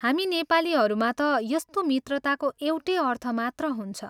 हामी नेपालीहरूमा ता यस्तो मित्रताको एउटै अर्थ मात्र हुन्छ।